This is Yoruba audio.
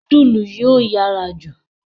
Nudulu yóò yára jù.